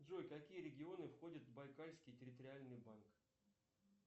джой какие регионы входят в байкальский территориальный банк